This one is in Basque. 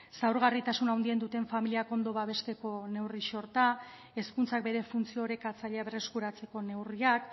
zaurgarritasun handien duten familiak ondo babesteko neurri sorta hezkuntzak bere funtzio orekatzailea berreskuratzeko neurriak